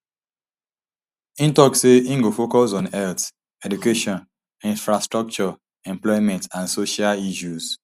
im also tok say im go focus on health education infrastructure employment and social issues